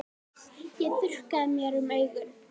Ég þurrkaði mér um augun.